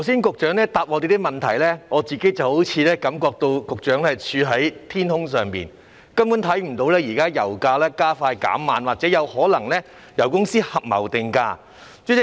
局長剛才回答我們的質詢時，我個人覺得局長好像處於天空，根本看不到現在油價加快減慢，或者油公司有可能合謀定價的情況。